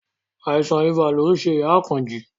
Àìsàn ibà lo ń ṣe ìyá Àkànjí